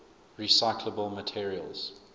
recyclable materials